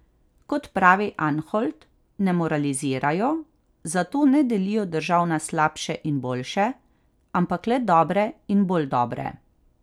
Kot pravi Anholt, ne moralizirajo, zato ne delijo držav na slabše in boljše, ampak le dobre in bolj dobre.